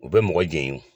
U bɛ mɔgɔ jɛɲɔgɔn